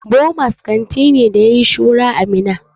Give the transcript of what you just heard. Bomas kanti ne ya yayi shura a Minna.